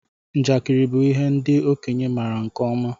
Njakiri bụ ihe ndị okenye maara nke ọma.